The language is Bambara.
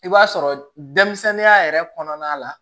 I b'a sɔrɔ denmisɛnninya yɛrɛ kɔnɔna la